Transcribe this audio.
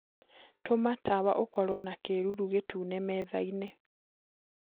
tuma tawaũkorwo na kiiruru gitune methaĩnĩ